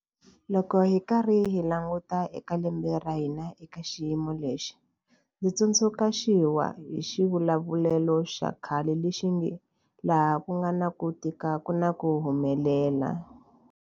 Loko hi karhi hi languta eka lembe ra hina eka xiyimo lexi, ndzi tsundzuxiwa hi xivulavulelo xa khale lexi nge, laha ku nga na ku tika ku na ku humelela.